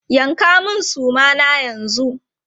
Yanka mun suma na yanzu!